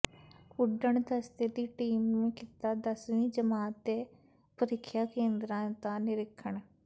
ਉੱਡਣ ਦਸਤੇ ਦੀ ਟੀਮ ਨੇ ਕੀਤਾ ਦਸਵੀਂ ਜਮਾਤ ਦੇ ਪ੍ਰੀਖਿਆ ਕੇਂਦਰਾਂ ਦਾ ਨਿਰੀਖਣ